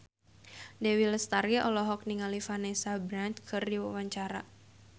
Dewi Lestari olohok ningali Vanessa Branch keur diwawancara